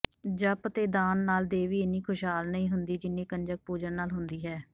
ਜਪ ਤੇ ਦਾਨ ਨਾਲ ਦੇਵੀ ਇੰਨੀ ਖ਼ੁਸ਼ਹਾਲ ਨਹੀਂ ਹੁੰਦੀ ਜਿੰਨੀ ਕੰਜਕ ਪੂਜਨ ਨਾਲ ਹੁੰਦੀ ਹੈ